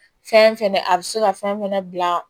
Fɛn fɛnɛ a bi se ka fɛn fɛnɛ bila